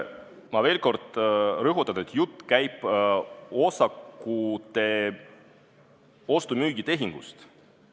Ma veel kord rõhutan, et jutt käib osakute ostu-müügi tehingust.